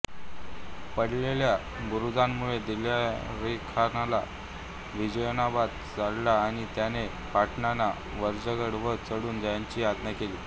पडलेल्या बुरुजामुळे दिलेरखानाला विजयोन्माद चढला आणि त्याने पठाणांना वज्रगड वर चढून जाण्याची आज्ञा केली